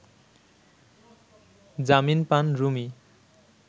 জামিন পান রুমি